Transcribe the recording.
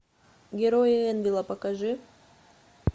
герои энвелла покажи